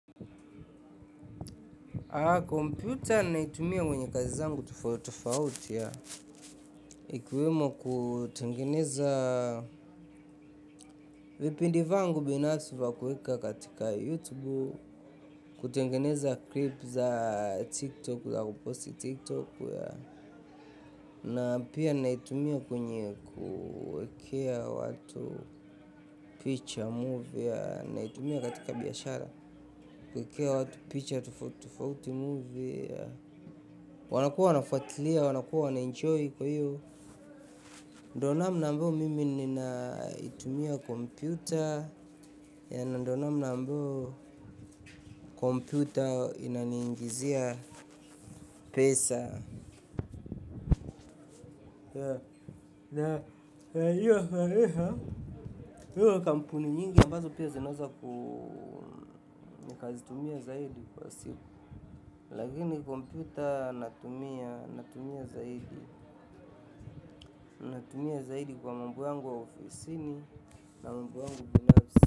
Kompyuta naitumia kwenye kazi zangu tofauti tofauti. Ikiwemo kutengeneza vipindi vyangu binafsi vya kuweka katika YouTube, kutengeneza klipu za TikTok, za kupost TikTok. Na pia naitumia kwenye kuwekea watu picha, movie. Naitumia katika biashara kuwekea watu picha tofauti tofauti, filamu pia. Wanakuwa wanafuatilia, wanakuwa wanaenjoy kwa hiyo. Ndiyo namna mimi ninaitumia kompyuta. Na ndiyo namna ambayo kompyuta inaniingizia pesa. Kampuni nyingi ambazo pia zinaweza nikazitumia zaidi kwa siku. Lakini kompyuta natumia zaidi. Natumia zaidi kwa mambo yangu wa ofisini. Na mambo yangu binafsi.